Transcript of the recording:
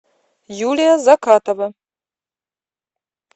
юлия закатова